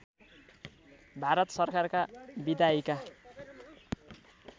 भारत सरकारका विधायिका